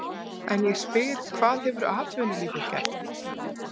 En ég spyr hvað hefur atvinnulífið gert?